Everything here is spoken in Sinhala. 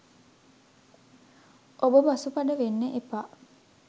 ඔබ පසුබට වෙන්න එපා.